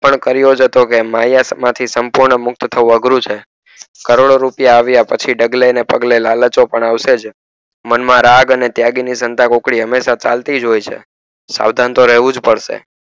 પણ કરીયો જ હતો કે મહિયાત માંથી સંપૂર્ણ મુક્ત થવું અંધરું છે કરોડો રૂપિયા આવિયા પછી ડગલે અને પગલે લાલચ પણ આવશે જ મન રાખ અને ત્યાગ ની સંતાકૂકડી હંમેશા ચાલતી જ હોય છે સાવધાન તો રેવું જ પડશે